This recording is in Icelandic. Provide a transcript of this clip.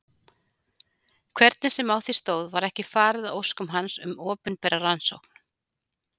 Hvernig sem á því stóð var ekki farið að óskum hans um opinbera rannsókn.